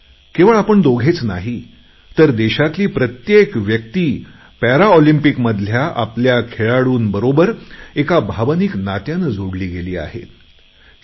केवळ आपण दोघेच नाही तर देशातली प्रत्येक व्यक्ती पॅरालिम्पिक्स मधल्या आपल्या खेळाडूंबरोबर एका भावनिक नात्याने जोडली गेली आहे